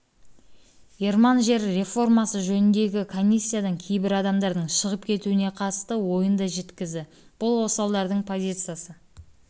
ерман жер реформасы жөніндегі комиссиядан кейбір адамдардың шығып кетуіне қатысты ойын да жеткізді бұл осалдардың позициясы